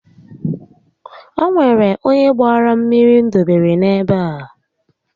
O nwere onye gbaara mmiri m dọbara n'ebe a